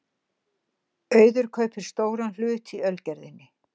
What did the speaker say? Auður kaupir stóran hlut í Ölgerðinni